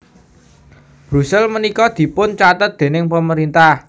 Brussel menika dipun catet dening pemerintah